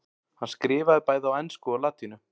hann skrifaði bæði á ensku og latínu